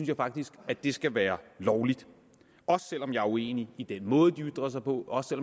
jeg faktisk at det skal være lovligt også selv om jeg er uenig i den måde de ytrer sig på og også